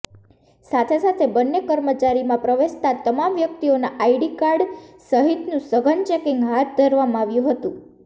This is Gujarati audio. સાથે સાથે બંને કચેરીમાં પ્રવેશતા તમામ વ્યક્તિઓના આઈકાર્ડ સહિતનું સઘન ચેકિંગ હાથ ધરવામાં આવ્યું હતું